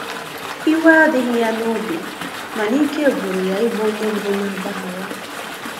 iwe adighi ya n'obi, mana ike gwụrụ ya ị bụ onye mbu na agbaghara